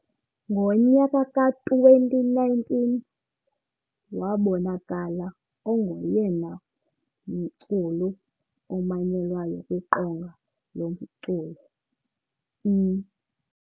Ngo nyaka ka 2019 wabonakala engoyena mculu omanyelwayo kwi qonga lomculo I-.